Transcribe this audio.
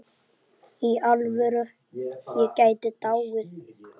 Í alvöru, ég gæti dáið.